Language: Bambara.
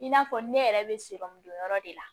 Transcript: I n'a fɔ ne yɛrɛ bɛ don yɔrɔ de la